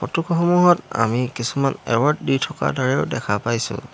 ফটোসমূহত আমি কিছুমান এৱাৰ্ড দি থকা দৰেও দেখা পাইছোঁ।